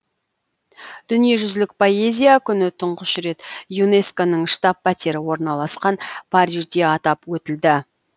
дүниежүзілік поэзия күні тұңғыш рет юнеско ның штаб пәтері орналасқан парижде атап өтілді